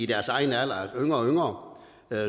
deres egen alder altså yngre og yngre